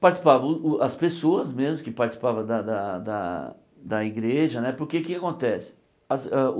Participavam o o as pessoas mesmo que participavam da da da da igreja né, porque o que é que acontece?